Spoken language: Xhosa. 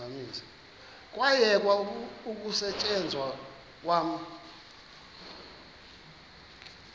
kwayekwa ukusetyenzwa kwa